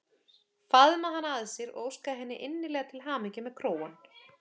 Faðma hana að sér og óska henni innilega til hamingju með krógann.